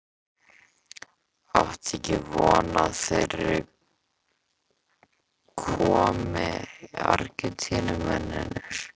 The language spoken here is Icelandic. Áttu ekkert von á að þeir komi Argentínumennirnir?